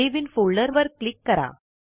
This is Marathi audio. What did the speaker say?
सावे इन फोल्डर वर क्लिक करा